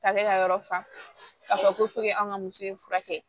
K'ale ka yɔrɔ fan ko fo k'an ka muso ye furakɛ